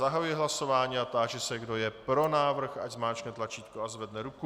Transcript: Zahajuji hlasování a táži se, kdo je pro návrh, ať zmáčkne tlačítko a zvedne ruku.